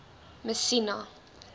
messina